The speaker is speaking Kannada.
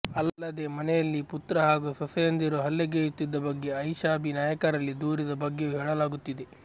ಅಲ್ಲದೆ ಮನೆಯಲ್ಲಿ ಪುತ್ರ ಹಾಗೂ ಸೊಸೆಯಂದಿರು ಹಲ್ಲೆಗೈಯ್ಯುತ್ತಿದ್ದ ಬಗ್ಗೆ ಆಯಿಷಾಬಿ ನಾಗರಿಕರಲ್ಲಿ ದೂರಿದ ಬಗ್ಗೆಯೂ ಹೇಳಲಾಗುತ್ತಿದೆ